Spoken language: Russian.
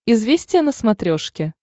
известия на смотрешке